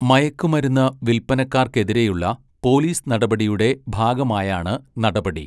മയക്കുമരുന്ന് വിൽപനക്കാർക്കെതിരെയുള്ള പോലീസ് നടപടിയുടെ ഭാഗമായാണ് നടപടി.